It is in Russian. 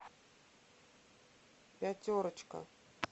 пятерочка